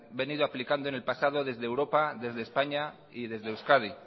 venido aplicando en el pasado desde europa desde españa y desde euskadi